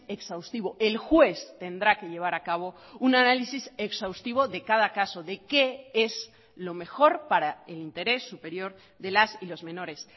exhaustivo el juez tendrá que llevar a cabo un análisis exhaustivo de cada caso de qué es lo mejor para el interés superior de las y los menores